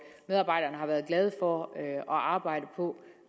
medarbejderne har været glade for at arbejde